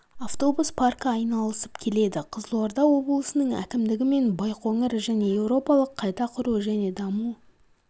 автобус паркі айналысып келеді қызылорда облысының әкімдігі мен байқоңыр және еуропалық қайта құру және даму